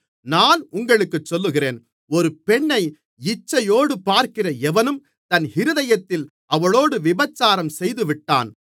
நான் உங்களுக்குச் சொல்லுகிறேன் ஒரு பெண்ணை இச்சையோடு பார்க்கிற எவனும் தன் இருதயத்தில் அவளோடு விபசாரம் செய்துவிட்டான்